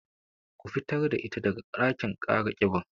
Ku fitar da ita daga ɗakin kara kiban